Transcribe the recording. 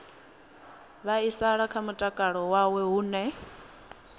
vhaisala kha mutakalo wawe hune